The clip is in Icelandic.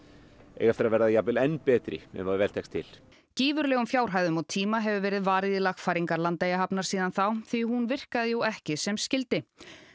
eiga eftir að verða jafnvel enn betri ef vel tekst til gífurlegum fjárhæðum og tíma hefur verið varið í lagfæringar Landeyjahafnar síðan þá því hún virkaði jú ekki sem skyldi